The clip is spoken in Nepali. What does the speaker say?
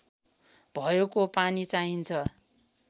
भएको पानी चाहिन्छ